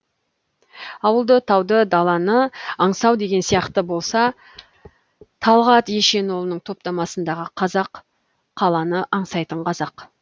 ауылды тауды даланы аңсау деген сияқты болса талғат ешенұлының топтамасындағы қазақ қаланы аңсайтын қазақ